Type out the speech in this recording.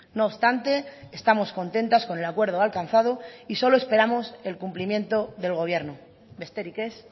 no obstante estamos contentas con el acuerdo alcanzado y solo esperamos el cumplimiento del gobierno besterik ez